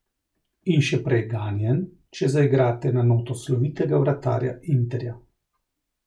In še prej ganjen, če zaigrate na noto slovitega vratarja Interja.